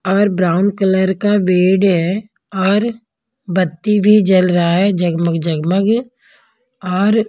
और brown colour का भेड़ है और बत्ती भी जल रहा है जगमग जगमग और --